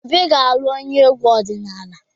Obi ga-alụ onye egwu ọdịnala.